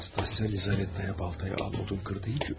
Nastasya Lizaveta'ya baltanı al, odun kır dedi.